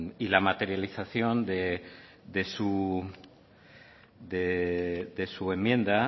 y la materialización de su enmienda